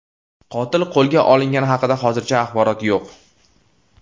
Qotil qo‘lga olingani haqida hozircha axborot yo‘q.